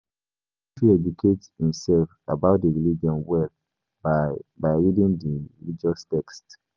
Person fit educate im self about di religion well by by reading di religious text